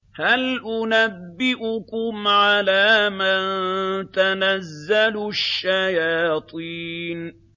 هَلْ أُنَبِّئُكُمْ عَلَىٰ مَن تَنَزَّلُ الشَّيَاطِينُ